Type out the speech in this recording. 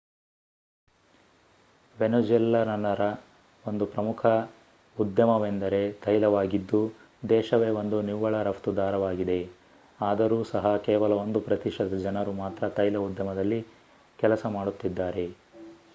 ವೆನೆಜ್ಯುಲನ್ನರ ಒಂದು ಪ್ರಮುಖ ಉದ್ಯಮವೆಂದರೆ ತೈಲವಾಗಿದ್ದು ದೇಶವೆ ಒಂದು ನಿವ್ವಳ ರಫ್ತುದಾರವಾಗಿದೆ ಆದರೂ ಸಹ ಕೇವಲ 1 ಪ್ರತಿಶತ ಜನರು ಮಾತ್ರ ತೈಲ ಉದ್ಯಮದಲ್ಲಿ ಕೆಲಸ ಮಾಡುತ್ತಿದ್ದಾರೆ